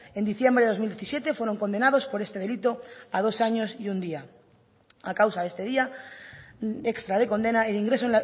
en diciembre de dos mil diecisiete fueron condenados por este delito a dos años y un día a causa de este día extra de condena el ingreso